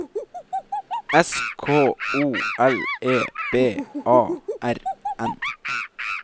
S K O L E B A R N